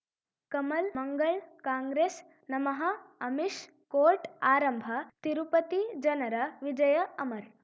ಕಮಲ್ ಮಂಗಳ್ ಕಾಂಗ್ರೆಸ್ ನಮಃ ಅಮಿಷ್ ಕೋರ್ಟ್ ಆರಂಭ ತಿರುಪತಿ ಜನರ ವಿಜಯ ಅಮರ್